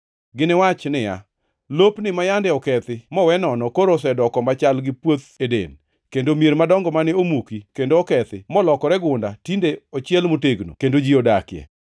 Giniwach niya, “Lopni ma yande okethi mowe nono koro osedoko machal gi puoth Eden, kendo mier madongo mane omuki kendo okethi molokore gunda tinde ochiel motegno kendo ji odakie.”